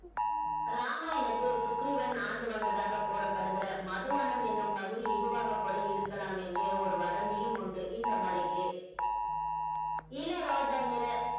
ராமாயணத்தில் சுக்ரீவன் ஆண்டு வந்ததாக கூறப்படுகிற மதுவனம் என்னும் பகுதி இதுவாக கூட இருக்கலாம் என்று ஒரு வதந்தியும் உண்டு இந்த மலைக்கு இள ரோஜா நிற